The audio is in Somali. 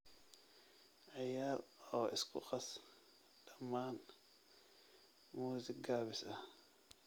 ciyaar oo isku qas dhammaan muusik gaabis ah